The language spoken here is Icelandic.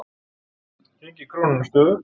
Gengi krónunnar stöðugt